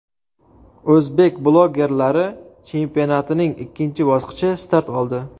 O‘zbek bloggerlari chempionatining ikkinchi bosqichi start oldi.